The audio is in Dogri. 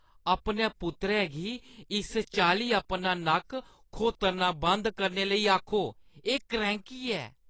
अपने पुत्तरै गी इस चाल्ली अपना नक्क खोत्तरना बंद करने लेई आखो। एह् क्रैंह्‌की ऐ।